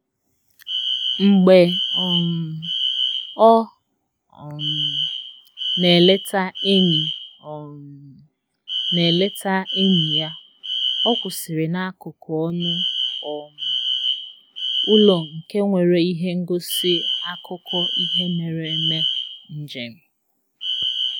Mgbe um ọ um na-eleta enyi um na-eleta enyi ya, ọ kwụsịrị n'akụkụ ọnụ um ụlọ nke nwere ihe ngosi akụkọ ihe mere eme njem